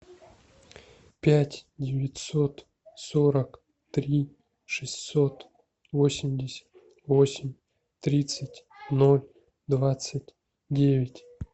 пять девятьсот сорок три шестьсот восемьдесят восемь тридцать ноль двадцать девять